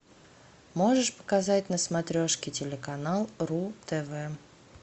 можешь показать на смотрешке телеканал ру тв